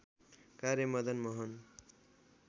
कार्य मदन मोहन